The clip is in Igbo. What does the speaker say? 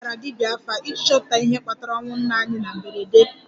Anyị gara 'dibia afa' iji chọpụta ihe kpatara ọnwụ nna anyị na mberede